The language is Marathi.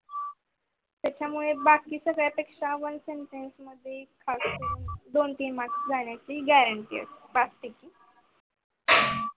त्याच्यामुळे बाकी सगळ्यापेक्षा One sentence मध्ये दोन तीन mark ची Guarantee आहे